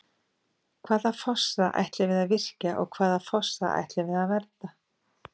Hvaða fossa ætlum við að virkja og hvaða fossa ætlum við að vernda?